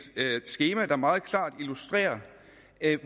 skema der meget klart illustrerer